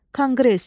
Konqres.